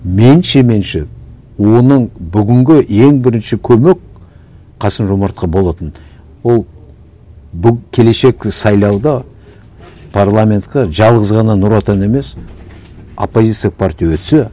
меніңше меніңше оның бүгінгі ең бірінші көмек қасым жомартқа болатын ол келешек сайлауда парламентке жалғыз ғана нұр отан емес оппозиция партия өтсе